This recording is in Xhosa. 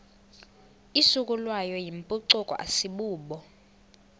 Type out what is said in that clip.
isukelwayo yimpucuko asibubo